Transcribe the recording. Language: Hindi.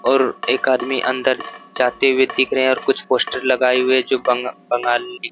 और एक आदमी अंदर जाते हुए दिख रहे हैं और कुछ पोस्टर लगाए हुए जो बंग बंगाली--